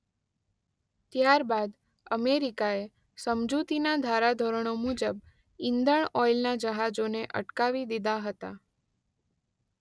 ત્યારબાદ અમેરિકાએ સમજૂતીના ધારાધોરણો મુજબ ઇંધણ ઓઇલના જહાજોને અટકાવી દીધા હતા.